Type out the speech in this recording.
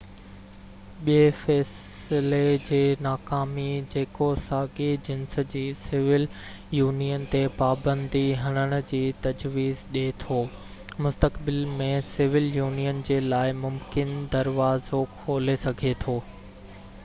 ٻي فيصلي جي ناڪامي جيڪو ساڳئي جنس جي سول يونين تي پابندي هڻڻ جي تجويز ڏي ٿو مستقبل ۾ سول يونين جي لاءِ ممڪن دروازو کولي سگهي ٿو